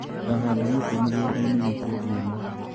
Ngahanda mĩti mũgũndainĩ wikendi ĩno.